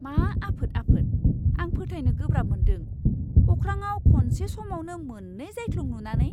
मा आफोद आफोद! आं फोथायनो गोब्राब मोन्दों अख्राङाव खनसे समावनो मोन्नै जायख्लं नुनानै!